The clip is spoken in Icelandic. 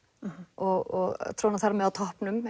og tróna þar með á toppnum